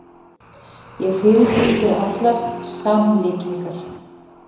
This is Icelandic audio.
Ég fyrirbýð þér allar samlíkingar.